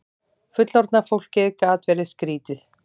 Fullorðna fólkið gat verið skrýtið.